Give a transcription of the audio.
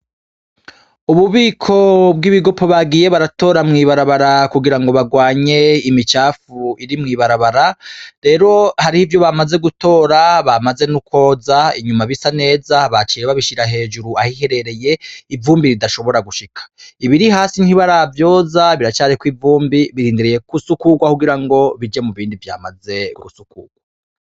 Ububiko bwibigopo bagiye baratora mw'ibarabara kugira ngo barwanye imicafu iri mw'ibarabara rero hari ivyo bamaze gutora bamaze nokwoza inyuma bisa neza baciye babishira hejuru aho iherereye ivumbi idashobora gushika ibiri hasi ntibaravyoza biracariko ivumbi birindiriye gusukurwa kugira ngo bije mubindi vyamaze gusukurwa.